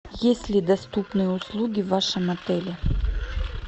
есть ли доступные услуги в вашем отеле